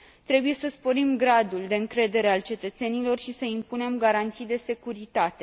Trebuie să sporim gradul de încredere al cetățenilor și să impunem garanții de securitate.